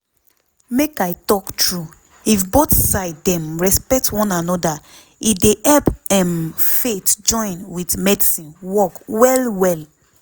make i talk true if both side dem respect one anoda e dey help emm faith join with medicine work well well.